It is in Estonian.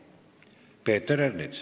Peeter Ernits.